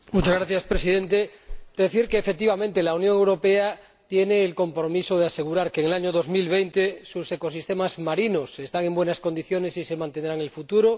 Señor Presidente, quiero decir que, efectivamente, la Unión Europea tiene el compromiso de asegurar que en el año 2020 sus ecosistemas marinos estarán en buenas condiciones y se mantendrán así en el futuro.